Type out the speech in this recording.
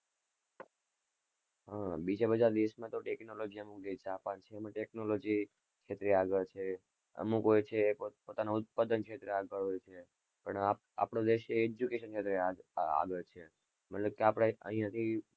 હા બીજા બધા દેશ માં તો technology જેમ જાપાન technology ક્ષેત્રે આગળ છે અમુક હોય છે પોતાના ઉત્પાદન ક્ષેત્રે આગળ હોય છે પણ આપણો દેશ education માં આગળ છે. મતલબ કે આપડે અહીં હજી.